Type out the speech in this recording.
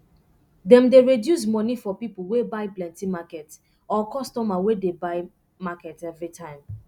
dem dey resduce moni for pipo wey buy plenty market or customer wey dey buy market evri time